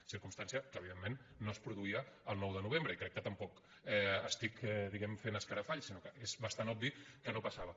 circumstància que evidentment no es produïa el nou de novembre i crec que tampoc estic diguem·ne fent escarafalls sinó que és bastant obvi que no passava